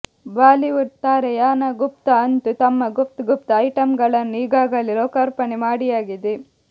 Bollywood ತಾರೆ Yana Gupta ಅಂತೂ ತಮ್ಮ ಗುಪ್ತ್ ಗುಪ್ತ್ ಐಟಂಗಳನ್ನು ಈಗಾಗಲೆ ಲೋಕಾರ್ಪಣೆ ಮಾಡಿಯಾಗಿದೆ